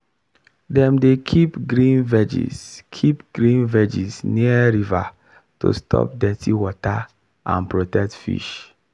dem dey keep green veggies keep green veggies near river to stop dirty water and protect fish.